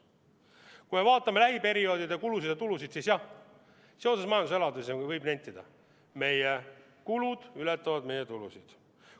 Kui me vaatame lähiperioodide kulusid ja tulusid, siis jah, seoses majanduse elavnemisega võib nentida: meie kulud ületavad meie tulusid.